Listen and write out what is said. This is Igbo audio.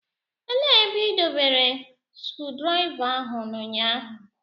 Elee ebe ị dobere skrudraịva ahụ n'ụnyaahụ?